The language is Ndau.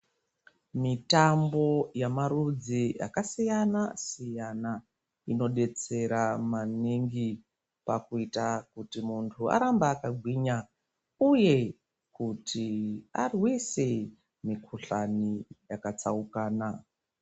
Mitambo yamarudzi akasiyanasiyana inodetsera maningi pakuita kuti munhu arambe akagwinya uye kuti arwise mikuhlani yakatsaukana.